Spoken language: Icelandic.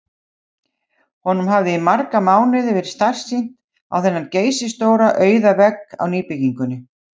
Honum hafði í marga mánuði verið starsýnt á þennan geysistóra auða vegg á nýbyggingu